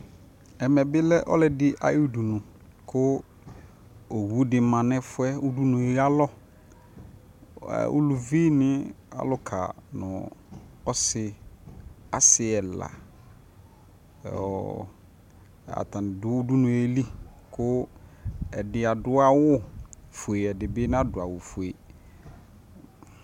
Ɛmɛ bi lɛ ɔlʋɔdi ayʋ udunʋ kʋ owu di ma nʋ ɛfu yɛ udunuyɛ alɔ Ɛ uluvi ni alʋka nʋ ɔsi asi ɛla ɔɔ atani dʋ udunu yɛ lι kʋ ɛdi adʋ awufue ɛdi nadʋ awufue